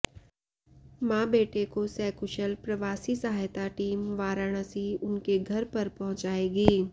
मां बेटे को सकुशल प्रवासी सहायता टीम वाराणसी उनके घर पर पहुंचायेगी